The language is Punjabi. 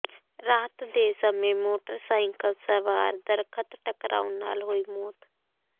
ਰਾਤ ਦੇ ਸਮੇਂ ਮੋਟਰਸਾਈਕਲ ਸਵਾਰ ਦਰੱਖਤ ਟਕਰਾਉਣ ਨਾਲ ਹੋਈ ਮੌਤ